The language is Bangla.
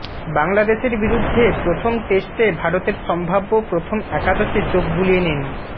বাংলাদেশের বিরুদ্ধে প্রথম টেস্টে ভারতের সম্ভাব্য প্রথম একাদশে চোখ বুলিয়ে নিন